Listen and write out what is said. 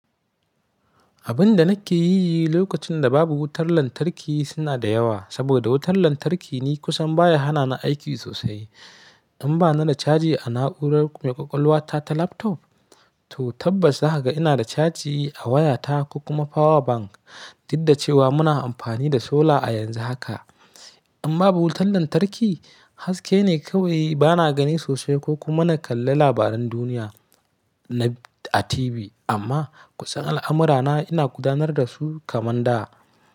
Abun da nake yi lokacin da babu wutar lantarki suna da yawa. Abun da nake yi lokacin da babu wutar lantarki suna da yawa. In bani da caji a na'urar mai ƙwaƙwalwa ta laptop, to tabbas haka ina da caji a wayata kuma power bank. Godda cewa muna amfani da solar a yanzu haka. Amma babu wutar lantarki haske ne kawai bana gani sosai ko kuma na kalla labaran duniya na a TV. Amma kusan al'amurana ina gudanar da su kamar da.